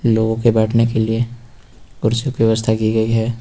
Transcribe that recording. इन लोगों के बैठने के लिए कुर्सी की व्यवस्था की गयी है।